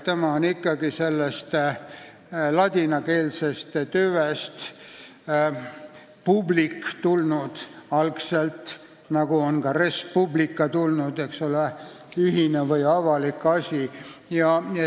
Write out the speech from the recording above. See on ikkagi algselt tulnud ladinakeelsest tüvest public, nagu sealt on tulnud ka res publica, mis tähendab ühist või avalikku asja.